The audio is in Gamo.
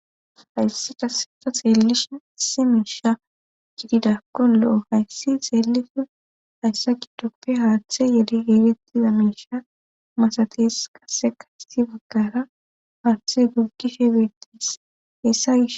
hayssi taseta xeellishe ise miisha gididakko lo7o hayssi xeeliso hayssa kidope haaththe yedi eegettiza miisha masates kase kasti bagkara haaththe guggishe beettis hessa gis